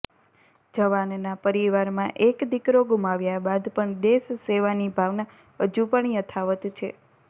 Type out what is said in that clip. જવાનના પરિવારમાં એક દીકરો ગુમાવ્યાં બાદ પણ દેશ સેવાની ભાવના હજુ પણ યથાવત છે